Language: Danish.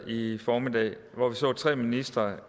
i formiddags hvor vi så tre ministre